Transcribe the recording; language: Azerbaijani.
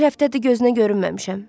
Bir həftədir gözünə görünməmişəm.